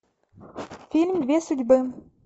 фильм две судьбы